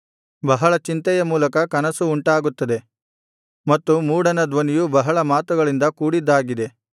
ಬಹಳ ಚಿಂತೆಯ ಮೂಲಕ ಕನಸು ಉಂಟಾಗುತ್ತದೆ ಮತ್ತು ಮೂಢನ ಧ್ವನಿಯು ಬಹಳ ಮಾತುಗಳಿಂದ ಕೂಡಿದ್ದಾಗಿದೆ